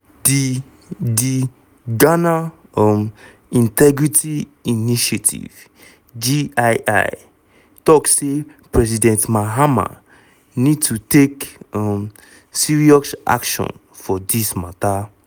di di ghana um integrity initiative (gii) tok say president mahama need to take um serious action for dis mata.